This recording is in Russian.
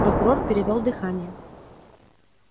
прокурор перевёл дыхание